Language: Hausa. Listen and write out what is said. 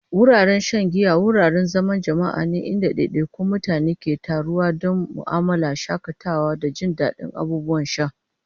Wuraren shan giya wuraren zaman jama'a ne inda ɗaiɗaikun mutane ke taruwa don mu'amala, shakatawa, da jin daɗin abubuwan sha.